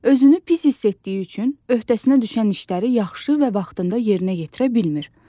Özünü pis hiss etdiyi üçün öhdəsinə düşən işləri yaxşı və vaxtında yerinə yetirə bilmir.